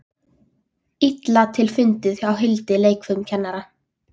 Illa til fundið hjá Hildi leikfimikennara.